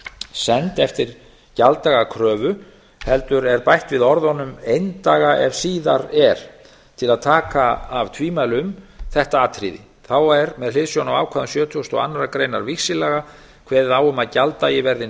send eftir gjalddaga kröfu heldur er bætt við orðunum eindaga ef síðar er til að taka af tvímæli um þetta atriði þá er með hliðsjón af ákvæðum sjötugasta og aðra grein víxillaga kveðið á um að gjalddagi verði